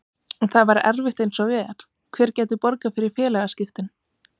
En það væri erfitt eins og er, hver gæti borgað fyrir félagaskiptin?